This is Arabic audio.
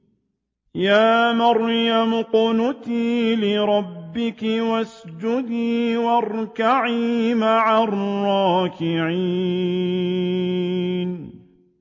يَا مَرْيَمُ اقْنُتِي لِرَبِّكِ وَاسْجُدِي وَارْكَعِي مَعَ الرَّاكِعِينَ